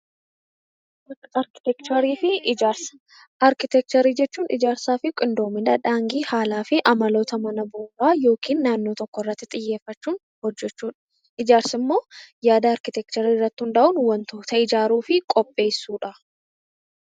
Arkiteekcharii fi ijaarsa Arkiteekcharii jechuun haala ijaarsaa fi qindoomina haalaa fi amaloota naannoo tokko irratti xiyyeeffachuun hojjechuudha. Ijaarsi immoo yaada arkiteekcharii irratti hundaa'uun ijaaruu fi qopheessuudha.